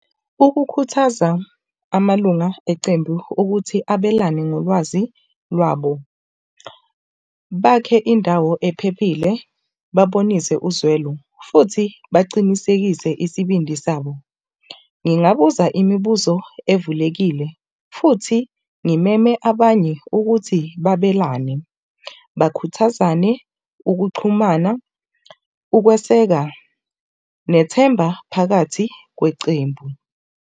Ukukhuthaza amalunga eqembu ukuthi abelane ngolwazi lwabo, bakhe indawo ephephile, babonise uzwelo futhi bacinisekise isibindi sabo. Ngingabuza imibuzo evulekile futhi ngimeme abanye ukuthi babelane. Bakhuthazane ukuxhumana, ukweseka, nethemba phakathi kwecembu.